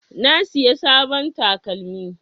Na siya sabon takalmi.